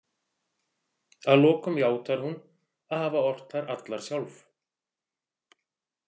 Að lokum játar hún að hafa ort þær allar sjálf.